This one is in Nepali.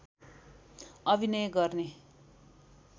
अभिनय गर्ने